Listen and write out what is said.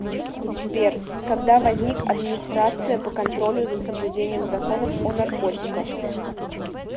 сбер когда возник администрация по контролю за соблюдением законов о наркотиках